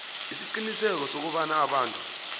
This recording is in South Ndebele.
isiqiniseko sokobana abantu